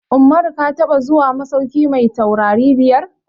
Umaru ka taɓa zuwa masauki mai taurari biyar?